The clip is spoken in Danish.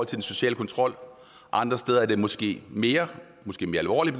den sociale kontrol andre steder er det måske mere måske mere alvorligt